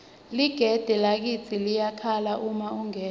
ligede lakitsi liyakhala uma ungena